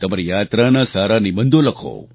તમારી યાત્રાના સારા નિબંધો લખો